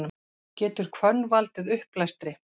Getur hvönn valdið uppblæstri?